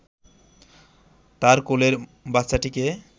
তার কোলের বাচ্চাটিকে